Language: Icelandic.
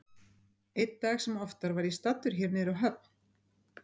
Einn dag sem oftar var ég staddur hér niðri á höfn.